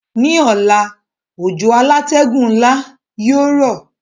Ní ọ̀la, òjò alátẹ́gùn nla yio rọ̀